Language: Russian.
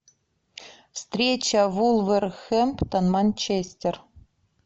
встреча вулверхэмптон манчестер